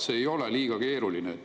See ei ole liiga keeruline.